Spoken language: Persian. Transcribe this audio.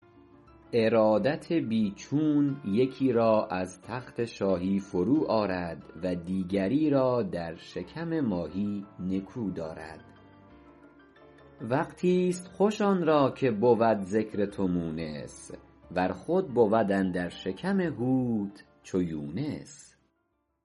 ارادت بی چون یکی را از تخت شاهی فرو آرد و دیگری را در شکم ماهی نکو دارد وقتیست خوش آن را که بود ذکر تو مونس ور خود بود اندر شکم حوت چو یونس